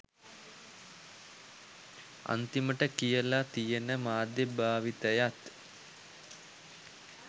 අන්තිමට කියලා තියෙන මාධ්‍යය භාවිතයත්